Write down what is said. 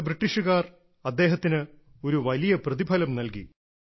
അതോടെ ബ്രിട്ടീഷുകാർ അദ്ദേഹത്തിന് ഒരു വലിയ പ്രതിഫലം നൽകി